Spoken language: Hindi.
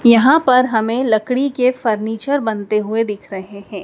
यहां पर हमें लकड़ी के फर्नीचर बनते हुए दिख रहे हैं।